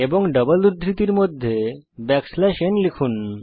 এবং ডাবল উদ্ধৃতির মধ্যে ব্যাকস্ল্যাশ n লিখুন